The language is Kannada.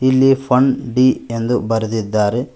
ಇಲ್ಲಿ ಫನ್ ಡಿ ಎಂದು ಬರೆದಿದ್ದಾರೆ.